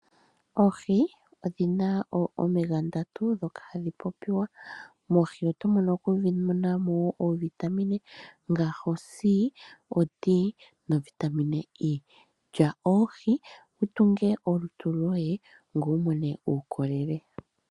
Oohi odhina omega ndatu, ndhoka hadhi popiwa. Moohi oto vulu okumonamo oovitamine, ngaashi o C, o D, novitamine E. Lya oohi, utunge olutu lwoye, ngoye umone uukolele.